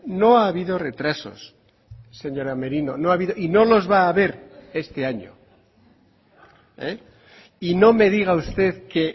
no ha habido retrasos señora merino y no los va a haber este año y no me diga usted que